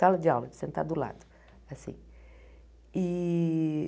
Sala de aula, de sentar do lado assim e.